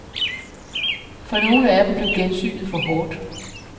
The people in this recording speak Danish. For nogle af dem blev gensynet for hårdt.